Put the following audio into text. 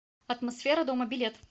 атмосфера дома билет